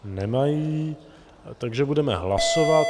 Nemají, takže budeme hlasovat.